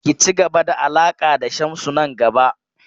Ki ci gaba da alaƙa da Shamsu nan gaba!